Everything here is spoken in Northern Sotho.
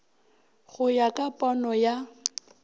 go ya ka pono ya